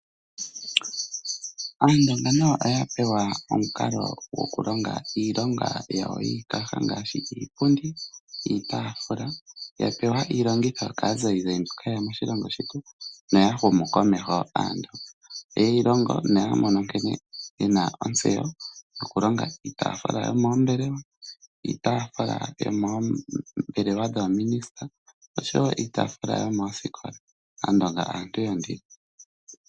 Aandonga nayo oya pewa omukalo gokulonga iilonga yawo yiikaha ngaashi iipundi niitaafula. Yapewa iilongitho kaazayizayi mboka haye ya moshilongo shetu noya humu komeho. Oye yi longo noya mono nkene ye na ontseyo yokulonga iitaafula yomoombelewa, iitaafula yomoombelewa dhoominisita nosho wo iitaafula yomoosikola. Aandonga aantu yondilo.